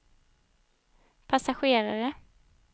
passagerare